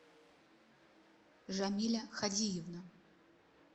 жамиля хадиевна